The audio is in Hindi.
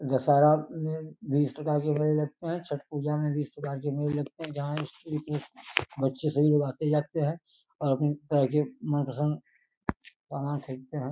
दशहरा में भी इस प्रकार के मेले लगते हैं। छठ पूजा में भी इस प्रकार के मेले लगते हैं। जहाँ बच्चे सभी लोग आते जाते हैं और मनपसंद सामान खरीदते हैं।